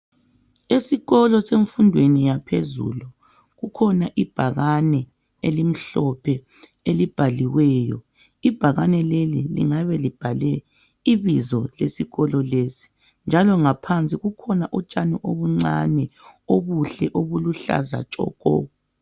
Esikolo semfundweni yaphezulu kukhona ibhakane elimhlophe elibhaliweyo. Ibhakane leli lingabe libhale ibizo lesikolo lesi. Njalo ngaphansi kukhona utshani obuncane obuhle obuluhlaza tshoko.